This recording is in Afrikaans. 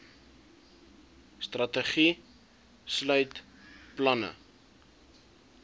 strategie sluit planne